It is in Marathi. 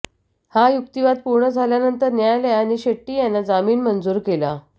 हा युक्तिवाद पूर्ण झाल्यानंतर न्यायालयाने शेट्टी यांना जामीन मंजूर केला